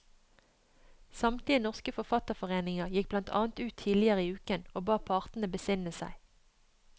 Samtlige norske forfatterforeninger gikk blant annet ut tidligere i uken og ba partene besinne seg.